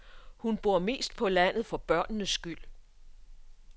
Hun bor mest på landet for børnenes skyld.